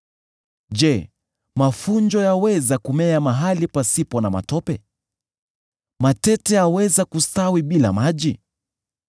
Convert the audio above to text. Je, mafunjo yaweza kumea mahali pasipo na matope? Matete yaweza kustawi bila maji?